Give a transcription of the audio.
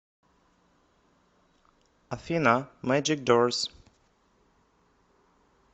афина мэджик дорс